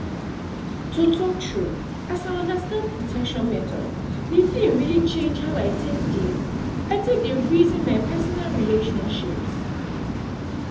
to talk true as i understand protection methods the thing really change how i take dey i take dey reason my personal relationships